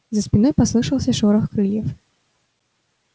за спиной послышался шорох крыльев